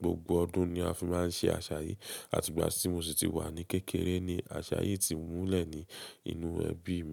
Gbogbo ọdún ni a fi máa ń ṣe àṣà yìí àti ìgbà tí mo sì ti wà ní kékeré ni àṣà yìí ti múlẹ̀ ní inú ẹbí mi.